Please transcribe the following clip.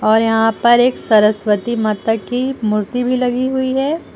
और यहां पर एक सरस्वती माता की मूर्ति भी लगी हुई है।